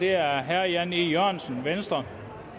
er herre jan e jørgensen venstre